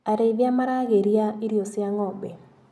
Arĩithia maragĩria irio cia ngombe.